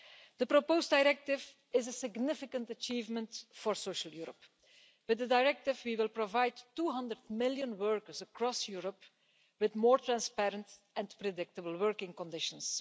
The proposed directive is a significant achievement for social Europe. With the directive we will provide 200 million workers across Europe with more transparent and predictable working conditions.